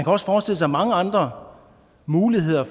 også forestille sig mange andre muligheder